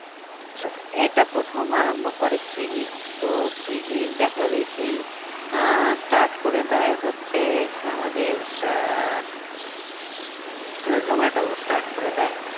Sorry এটা প্রথম আরাম্ভ করে সুইগী তো সুইগীর দেখা দেখি আহ start করে দেয় হচ্ছে আমাদের আহ আহ জোমাটোও start করে দেয়